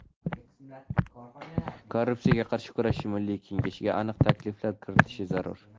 Korrupsiyaga qarshi kurashish milliy kengashiga aniq takliflar kiritishi zarur.